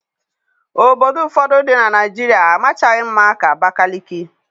Obodo ụfọdụ dị na Naịjirịa amachaghị mma ka Abakaliki.